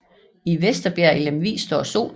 I Vesterbjerg i Lemvig står Solen